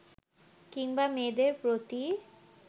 কিংবা মেয়েদের প্রতি